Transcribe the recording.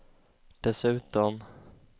dessutom